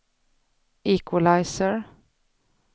equalizer